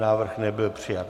Návrh nebyl přijat.